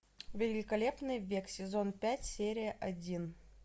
великолепный век сезон пять серия один